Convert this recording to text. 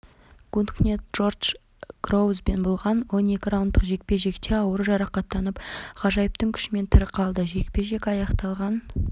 гуткнехт джордж гроувзбен болған он екі раундтық жекпе-жекте ауыр жарақаттанып ғажайыптың күшімен тірі қалды жекпе-жек аяқталған